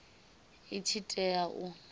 i tshi tea u vha